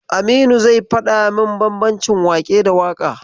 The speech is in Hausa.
Aminu zai faɗa min bambancin waƙe da waƙa.